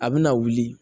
A bɛna wuli